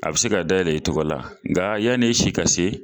A bɛ se ka dayɛlɛ i tɔgɔ la , nka yani e si ka se